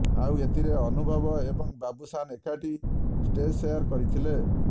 ଆଉ ଏଥିରେ ଅନୁଭବ ଏବଂ ବାବୁସାନ୍ ଏକାଠି ଷ୍ଟେଜ୍ ସେୟାର କରିଥିଲେ